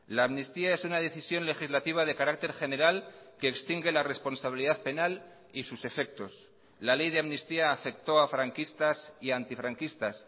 la amnistía es una decisión legislativa de carácter general que extingue la responsabilidad penal y sus efectos la ley de amnistía afectó a franquistas y antifranquistas